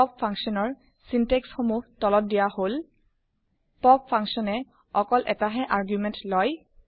pop function ৰ বাক্যবিন্যাস সমুহ তলত দিয়া হল160 পপ ফাংচন এ অকল এটাহে আৰ্গুমেণ্ট লয়